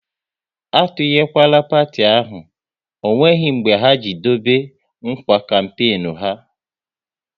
A tunyekwala parti ahụ, ọ nweghị mbe ha ji e dobe nkwa kampenu ha!